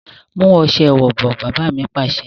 Mu ọ̀sẹ̀ ìwẹ̀ bọ̀! Baba mi Pàṣẹ.